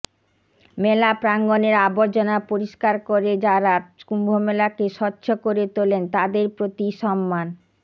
মেলা প্রাঙ্গণের আবর্জনা পরিষ্কার করে যাঁরা কুম্ভমেলাকে স্বচ্ছ করে তোলেন তাঁদের প্রতি সম্মান